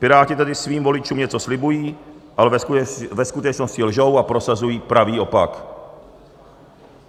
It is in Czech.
Piráti tady svým voličům něco slibují, ale ve skutečnosti lžou a prosazují pravý opak.